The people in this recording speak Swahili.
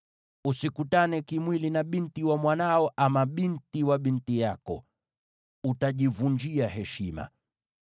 “ ‘Usikutane kimwili na binti wa mwanao ama binti wa binti yako; utajivunjia heshima.